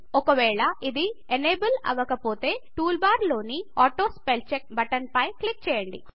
ఒకవేళ ఇది ఎనేబుల్అవ్వకపోతే టూల్ బార్ లోని ఆటోస్పెల్చెక్ బటన్ పై క్లిక్ చేయండి